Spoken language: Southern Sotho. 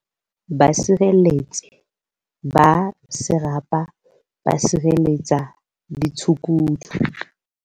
Basireletsi ba Serapa ba sireletsa ditshukudu